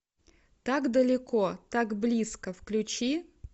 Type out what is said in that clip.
так далеко так близко включи